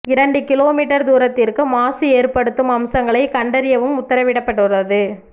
இரண்டு kilometre தூரத்திற்கு மாசு ஏற்படுத்தும் அம்சங்களை கண்டறியவும் உத்தரவிடப்பட்டுள்ளது